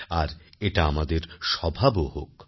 আর এটা আমাদের স্বভাবও হোক